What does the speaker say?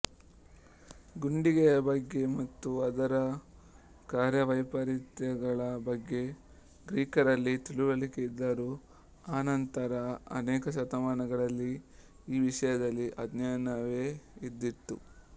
ಗುಂಡಿಗೆಯ ಬಗ್ಗೆ ಮತ್ತು ಅದರ ಕಾರ್ಯವೈಪರೀತ್ಯಗಳ ಬಗ್ಗೆ ಗ್ರೀಕರಲ್ಲಿ ತಿಳಿವಳಿಕೆಯಿದ್ದರೂ ಅನಂತರದ ಅನೇಕ ಶತಮಾನಗಳಲ್ಲಿ ಈ ವಿಷಯದಲ್ಲಿ ಅಜ್ಞಾನವೇ ಇದ್ದಿತು